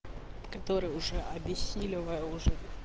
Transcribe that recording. который уже объяснила уже